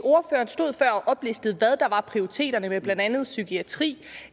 og oplistede hvad der var prioriteterne med blandt andet psykiatri